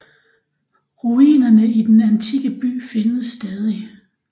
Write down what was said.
Ruinerne af den antikke by findes stadig